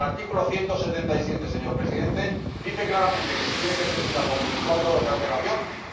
El artículo 177, señor Presidente, dice claramente que se tiene que presentar con veinticuatro horas de antelación y antes del debate.